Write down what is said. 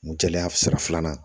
Jɛya sira filanan